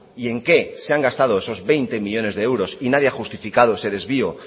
y en qué se han gastado esos veinte millónes de euros y nadie ha justificado ese desvío